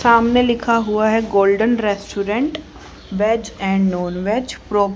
सामने लिखा हुआ है golden restaurant veg and non veg pro--